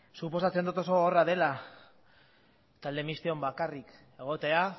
suposatzen dut oso gogorra dela talde mistoan bakarrik egotea